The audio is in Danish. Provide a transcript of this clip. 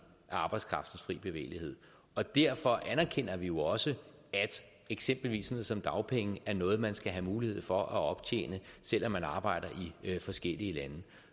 af arbejdskraftens fri bevægelighed og derfor anerkender vi jo også at eksempelvis sådan noget som dagpenge er noget man skal have mulighed for at optjene selv om man arbejder i forskellige lande